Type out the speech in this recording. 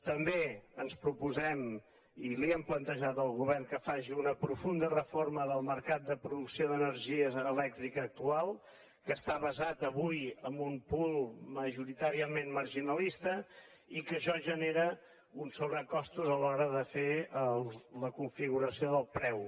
també ens proposem i li ho hem plantejat al govern que faci una profunda reforma del mercat de producció d’energia elèctrica actual que està basat avui en un poolaixò genera uns sobrecostos a l’hora de fer la configuració del preu